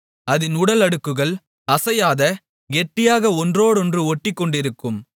அதின் உடல் அடுக்குகள் அசையாத கெட்டியாக ஒன்றோடொன்று ஒட்டிக்கொண்டிருக்கும்